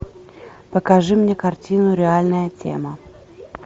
покажи мне картину реальная тема